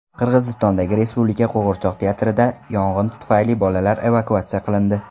Qirg‘izistondagi respublika qo‘g‘irchoq teatridan yong‘in tufayli bolalar evakuatsiya qilindi.